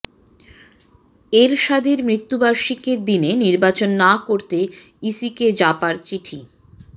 এরশাদের মৃত্যুবার্ষিকীর দিনে নির্বাচন না করতে ইসিকে জাপার চিঠি